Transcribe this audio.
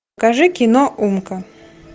покажи кино умка